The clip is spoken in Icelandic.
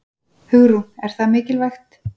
Hugrún: Er það mikilvægt?